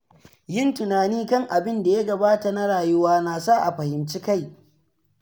Yin tunani kan abinda ya gabata na rayuwa nasa a fahimci kai.